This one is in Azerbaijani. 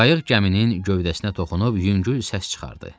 Qayıq gəminin gövdəsinə toxunub yüngül səs çıxartdı.